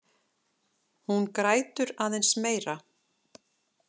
Hún grætur aðeins meira.